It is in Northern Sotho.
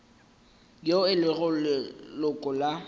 yo e lego leloko la